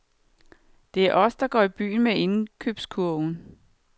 Det er os, der går i byen med indkøbskurven.